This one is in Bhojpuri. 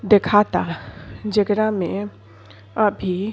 देखाता जेकरा में अभी --